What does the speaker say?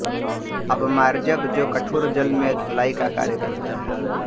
अपमार्जक जो कठोर जल में धुलाई का कार्य करता है